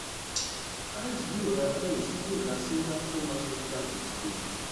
ice yóò ra ice yóò ra singapore mercantile exchange